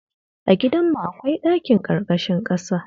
A gidanmu akwai ɗakin ƙarƙashin ƙasa